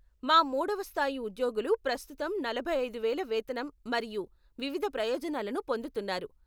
మా మూడవ స్థాయి ఉద్యోగులు ప్రస్తుతం నలభై ఐదు వేల వేతనం మరియు వివిధ ప్రయోజనాలను పొందుతున్నారు.